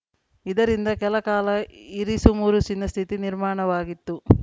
ಇದರಿಂದ ಕೆಲ ಕಾಲ ಇರಿಸುಮುರುಸಿನ ಸ್ಥಿತಿ ನಿರ್ಮಾಣವಾಗಿತ್ತು